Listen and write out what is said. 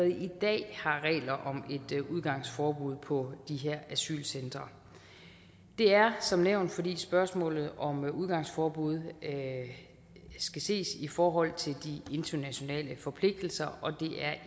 i dag har regler om et udgangsforbud på de her asylcentre det er som nævnt fordi spørgsmålet om udgangsforbud skal ses i forhold til de internationale forpligtelser og det er